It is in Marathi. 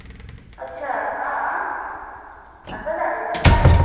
याचा अह असं झालेलं काय?